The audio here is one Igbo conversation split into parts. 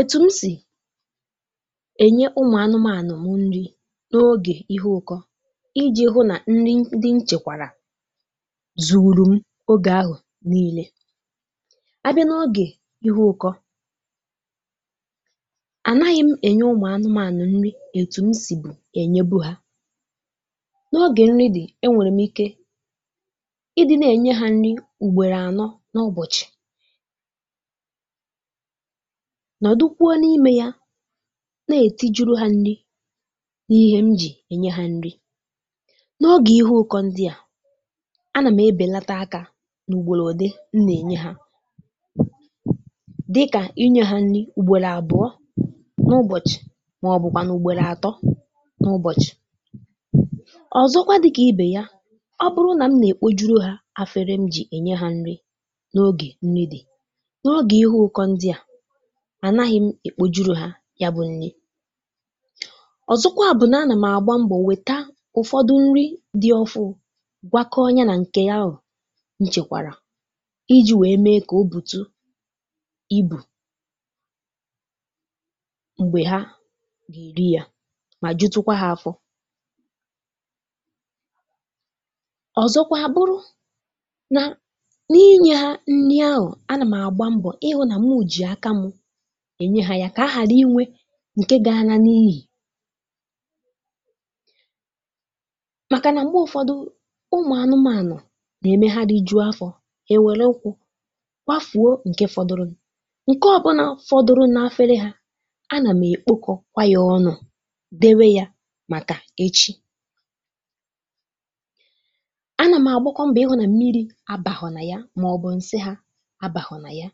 ètù m sì ènyè ụmụ̀ anụmȧnụ̀ m nni n’ogè ihe ụkọ iji̇ hụ nà nni ndị nchèkwàrà zú̇ru̇ m ogè ahụ̀ n’ile, a bịa n’ogè ihe ụkọ ànàghị̇ m ènyè ụmụ̀ anụmȧnụ̀ nni ètù m sì bụ̀ ènyèbù hà n’ogè nni dị̀ e nwèrè m ike ị dị na-ènye hȧ nni m̀gbèro ànọ n’ụbọ̀chị̀ nọ̀dụ kwuo n’imė ya na-èti juru ha nni n’ihe m jì ènyè ha nni, n’ọgè ihe ụkọ ndị à, a nà m ebèlàtà àkà n’ùgbòlò òké m nà-ènye ha dịkà inye ha nni ùgbòlà àbụọ n’ụbọ̀chị̀, màọ̀bụ̀kwà n’ùgbòlà àtọ n’ụbọ̀chị̀, ọ̀zọkwa dịkà ìbè ya, ọ bụrụ nà m nà-èkpò juru ha afere m jì ènyè ha nni n’ogè nni dị̀, n’ọgè ihu ụkọ ndị à, ànàghị̇ m èkpòjuru ha ya bụ̇ nni, ọ̀zọkwa bụ̀ nà a nà m àgba m̀gbò nwèta ụ̀fọdụ nni dị ofụ̇, gwakọọ ya nà ǹkè ya ahụ̀ nchèkwàrà iji̇ wèe mee kà ọ bùtù ibù m̀gbè ha gà-èri ya mà jụtụkwa ha afọ̇ ọ̀zọkwa abụrụ nà n’inyè ha nni ahụ̀, a nà m̀ àgba m̀gbò hụ̇ nà mụ jì àkà m ènyè ha ya kà àrà inwè ǹkè gáá ná n’íyì màkà nà m̀gbè ụ̀fọdụ ụmụ̀ anụmȧnụ̀ nà-emė hà rì jụ̇o afọ̇ hà ewèrè ukwu̇ gbàfùo ǹkè fọdụrụ̇, ǹkè ọ̀bụ̀nà fọdụrụ n’efere hà a nà m èkpòkȯ kwa yȧ ọnụ̇ dèwè yȧ màkà echi a nà m àgbakwà m̀bò ihụ̇ nà mmirī̇ abàhụ̀ nà ya màọbụ̇ ǹsị hà abàhò nà ya,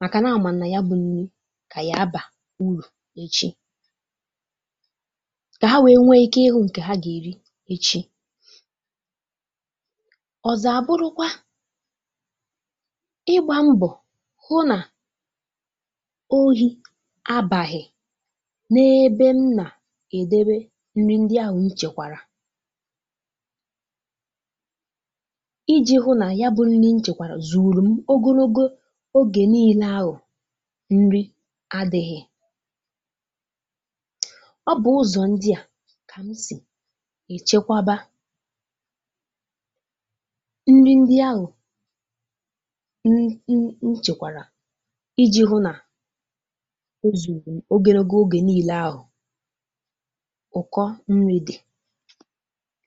màkà nà àmàm̀ nà ya bụ nni gà-àbà ụ̀rụ̀ echi kà hà wèe nwee ike hụ̇ ǹkè hà gà-èri echi. ọ̀zọ̀ àbụrụkwa ịgbà mbọ̀ hụ nà òhì abàghị̀ n’ebe m nà èdèbè nni ndị ahụ̀ nchèkwàrà iji̇ hụ nà ya bụ̇ nni nchèkwàrà zú̇ru̇ m ogologo ogè niile ahụ̀ nni àdịghị, ọ bụ̀ ụzọ̀ ndị à kà m sì èchekwàbà nni ndị ahụ̀ n(um) nchèkwàrà iji̇ hụ nà òzúrum ogologo ogè n’ile ahụ̀ ụkọ nni̇ dị̀.